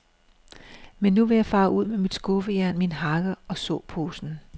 Men nu vil jeg fare ud med mit skuffejern, min hakke og såposen.